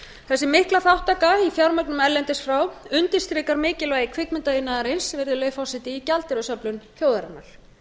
þessi mikla þátttaka í fjármögnun erlendis frá undirstrikar mikilvægi kvikmyndaiðnaðarins virðulegi forseti í gjaldeyrisöflun þjóðarinnar